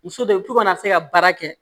Muso de bi to kana se ka baara kɛ